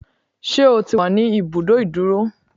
Ṣé o ti wà ní ibùdó ìdúró?